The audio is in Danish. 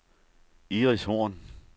Iris Horn